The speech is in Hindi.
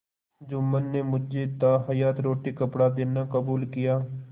जुम्मन ने मुझे ताहयात रोटीकपड़ा देना कबूल किया